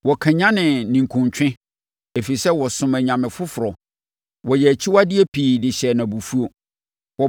Wɔkanyane ne ninkunutwe, ɛfiri sɛ wɔsomm anyame foforɔ; wɔyɛɛ akyiwadeɛ pii de hyɛɛ no abufuo.